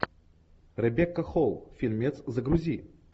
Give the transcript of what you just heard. ребекка холл фильмец загрузи